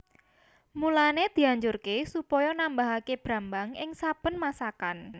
Mulané dianjurké supaya nambahaké brambang ing saben masakan